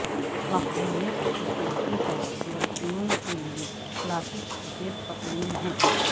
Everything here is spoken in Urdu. مقبولیت کی چوٹی پر لڑکیوں کے لئے کلاسک سفید پتلون ہیں